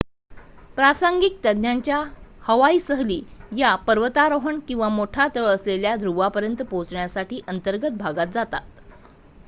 प्रासंगिक तज्ञांच्या हवाई सहली या पर्वतारोहण किंवा मोठा तळ असलेल्या ध्रुवापर्यंत पोहोचण्यासाठी अंतर्गत भागात जातात